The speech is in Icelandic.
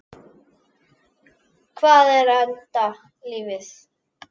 Hvað er enda lífið?